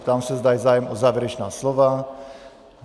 Ptám se, zda je zájem o závěrečná slova.